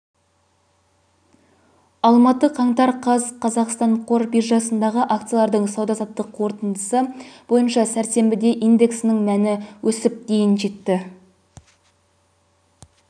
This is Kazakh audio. алматы қаңтар қаз қазақстан қор биржасындағы акциялардың сауда-саттық қорытындысы бойынша сәрсенбіде индексінің мәні өсіп дейін жетті